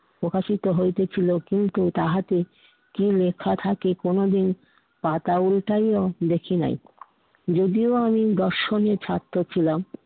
প্রকাশিত হইতেছিলো, কিন্তু তাহাতে কি লেখা থাকে কোনোদিন পাতা উল্টাইয়াও দেখি নাই। যদিও আমি দর্শণের ছাত্র ছিলাম